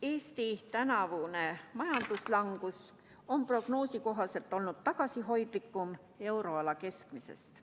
Eesti tänavune majanduslangus on prognoosi kohaselt olnud tagasihoidlikum euroala keskmisest.